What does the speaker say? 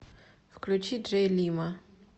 включи джей лимо